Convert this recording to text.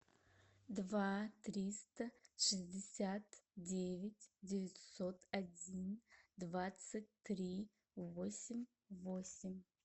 два триста шестьдесят девять девятьсот один двадцать три восемь восемь